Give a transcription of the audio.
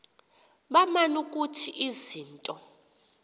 baman ukuthi izinto